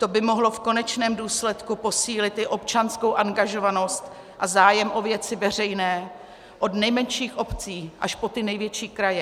To by mohlo v konečném důsledku posílit i občanskou angažovanost a zájem o věci veřejné od nejmenších obcí až po ty největší kraje.